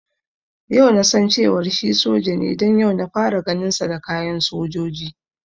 Yau nasan cewar shi soja ne don yau na fara ganin sa da kayan sojoji